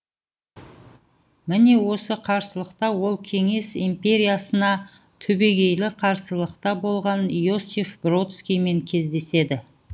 міне осы қарсылықта ол кеңес империясына түбегейлі қарсылықта болған иосиф бродскиймен кездеседі